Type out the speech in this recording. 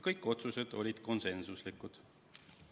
Kõik otsused olid konsensuslikud.